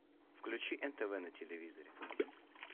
включи нтв на телевизоре